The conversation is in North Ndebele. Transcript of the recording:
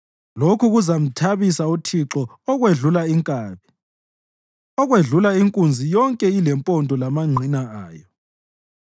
Lokhu kuzamthabisa uThixo okwedlula inkabi, okwedlula inkunzi yonke ilempondo lamangqina ayo.